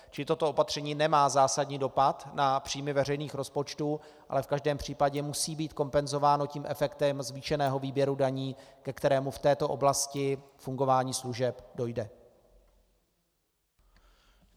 Čili toto opatření nemá zásadní dopad na příjmy veřejných rozpočtů, ale v každém případě musí být kompenzováno tím efektem zvýšeného výběru daní, ke kterému v této oblasti fungování služeb dojde.